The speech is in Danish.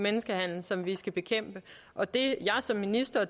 menneskehandel som vi skal bekæmpe og det jeg som minister